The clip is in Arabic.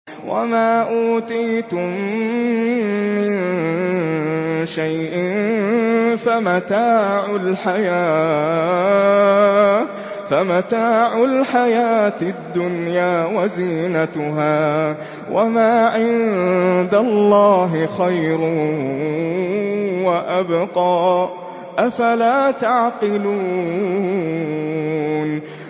وَمَا أُوتِيتُم مِّن شَيْءٍ فَمَتَاعُ الْحَيَاةِ الدُّنْيَا وَزِينَتُهَا ۚ وَمَا عِندَ اللَّهِ خَيْرٌ وَأَبْقَىٰ ۚ أَفَلَا تَعْقِلُونَ